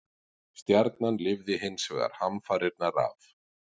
Stjarnan lifði hins vegar hamfarirnar af.